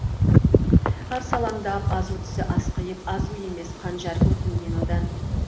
арсалаңдап азу тісі ақсиып азу емес қанжар көрдім мен одан